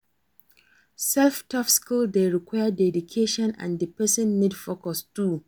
self taught skill de require dedication and di persin need focus too